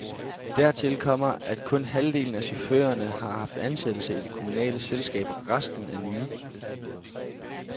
Dertil kommer, at kun halvdelen af chaufførerne har haft ansættelse i det kommunale selskab, resten er nye.